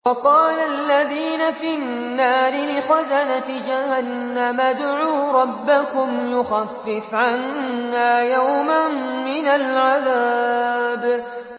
وَقَالَ الَّذِينَ فِي النَّارِ لِخَزَنَةِ جَهَنَّمَ ادْعُوا رَبَّكُمْ يُخَفِّفْ عَنَّا يَوْمًا مِّنَ الْعَذَابِ